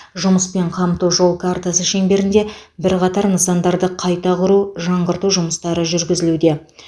жұмыспен қамту жол картасы шеңберінде бірқатар нысандарды қайта құру жаңғырту жұмыстары жүргізілуде